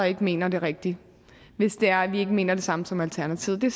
ikke mener det rigtige hvis det er at vi ikke mener det samme som alternativet det